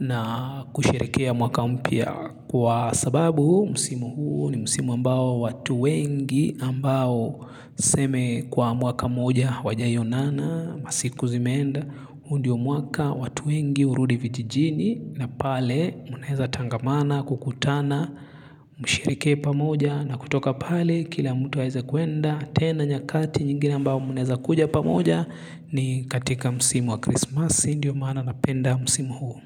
na kusherehekea mwaka umpya kwa sababu. Msimu huu ni msimu ambao watu wengi ambao tuseme kwa mwaka moja hawajaionana masiku zimenda. Huu ndo mwaka watu wengi hurudi vijijini na pale munaeza tangamana kukutana msherehekee pamoja na kutoka pale kila mtu aeze kuenda tena nyakati nyingine ambayo mnaeza kuja pamoja ni katika msimu wa krismasi ndio maana napenda msimu huu.